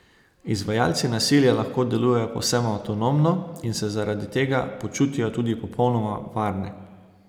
Izvajalci nasilja lahko delujejo povsem anonimno in se zaradi tega počutijo tudi popolnoma varne.